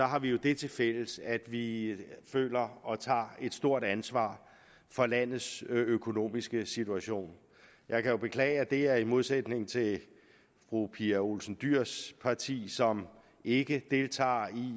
har vi jo det tilfælles at vi føler og tager et stort ansvar for landets økonomiske situation jeg kan jo beklage at det er i modsætning til fru pia olsen dyhrs parti som ikke deltager